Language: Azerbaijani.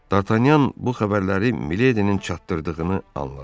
Dartanyan bu xəbərləri Miledinin çatdırdığını anladı.